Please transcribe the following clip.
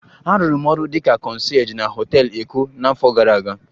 Arụrụ m ọrụ dị ka concierge na họtel Eko n'afọ gara aga